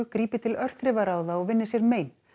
grípi til örþrifaráða og vinni sér mein